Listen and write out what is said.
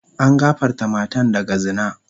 An gafarta matan daga zina.